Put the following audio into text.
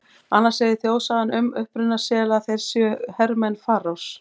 Annars segir þjóðsagan um uppruna sela að þeir séu hermenn Faraós.